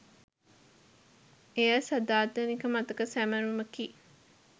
එය සදාතනික මතක සැමරුමකි.